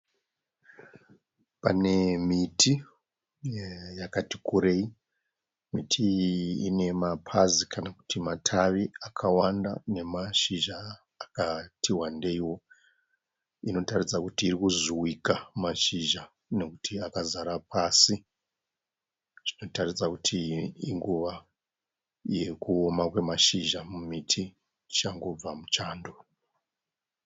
Pane miti yakati kurei, miti iyi ine mapazi kana kuti matavi akawanda nemashizha akati wandeiwo, inotaridza kuti iri kuzvuvika mashizha nekuti akazara pasi, zvinotaridza kuti inguva yekuoma kwemashizha mumiti tichangobva muchando